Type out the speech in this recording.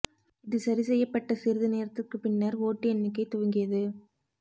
இது சரி செய்யப்பட்ட சிறிது நேரத்திற்கு பின்னர் ஓட்டு எண்ணிக்கை துவங்கியது